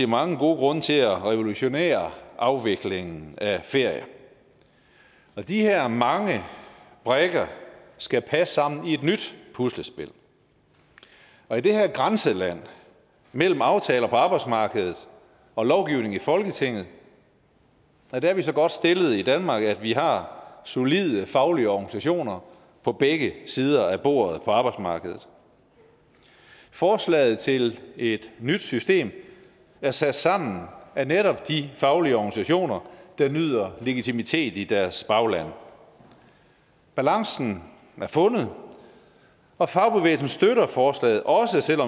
mange gode grunde til at revolutionere afviklingen af ferier og de her mange brikker skal passe sammen i et nyt puslespil og i det her grænseland mellem aftaler på arbejdsmarkedet og lovgivning i folketinget er vi så godt stillet i danmark at vi har solide faglige organisationer på begge sider af bordet på arbejdsmarkedet forslaget til et nyt system er sat sammen af netop de faglige organisationer der nyder legitimitet i deres bagland balancen er fundet og fagbevægelsen støtter forslaget også